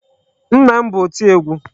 Nna m bụ oti egwu.